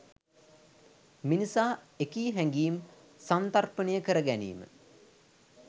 මිනිසා එකී හැඟීම් සන්තර්පණය කර ගැනීම